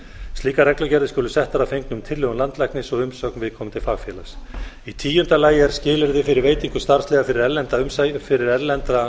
slíkar reglugerðir skulu settar að fengnum tillögum landlæknis og umsögn viðkomandi fagfélags í tíunda lagi er skilyrði fyrir veitingu starfsleyfa fyrir erlenda